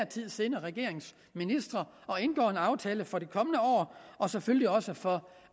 tid siddende regerings ministre og indgår en aftale for det kommende år og selvfølgelig også for